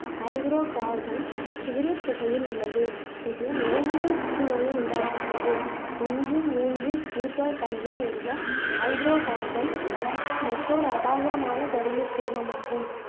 hydro carbon cigarette புகையில் உள்ளது இது நுரையீரல் புற்றுநோயை உண்டாக்குகிறது ஒண்று மூண்று ப்லுட்டோ டயின் என்ற ஹைட்ரோ கார்பன் மற்ற ஒரு அபாயகரமான கருமச் சேர்மமாகும்